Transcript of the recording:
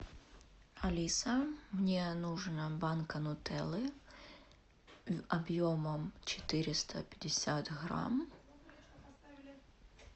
алиса мне нужна банка нутеллы объемом четыреста пятьдесят грамм